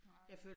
Nej